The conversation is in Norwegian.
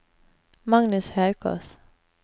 Magnus Haukås